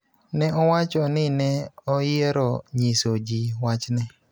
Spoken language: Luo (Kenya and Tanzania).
Ne owacho ni ne oyiero nyiso ji wachne